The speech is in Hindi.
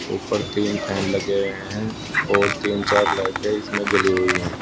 ऊपर तीन फेन लगे हुए हैं ओर तीन चार लाइटें इसमें जली हुई है।